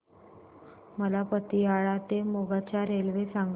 मला पतियाळा ते मोगा च्या रेल्वे सांगा